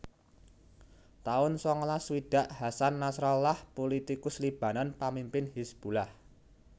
taun sangalas swidak Hasan Nasrallah pulitikus Libanon pamimpin Hizbullah